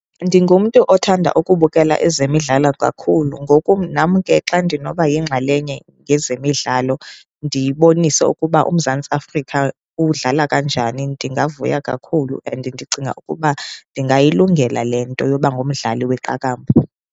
Ndingumntu othanda ukubukela ezemidlalo kakhulu. Ngoku nam ke xa ndinoba yingxalenye yezemidlalo ndibonise ukuba uMzantsi Afrika udlala kanjani, ndingavuya kakhulu and ndicinga ukuba ndingayilungela le nto yoba ngumdlali weqakamba.